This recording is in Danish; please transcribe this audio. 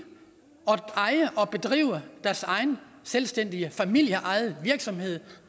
at drive deres egen selvstændige familieejede virksomhed